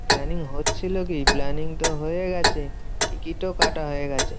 Planning হচ্ছিলো কি, planning তো হয়ে গেছে। টিকিটও কাটা হয়ে গেছে।